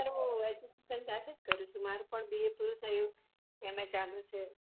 Sir વો education ત્યાં થી કર્યું મારે પણ B. A પૂરું થયું M. A ચાલુ છે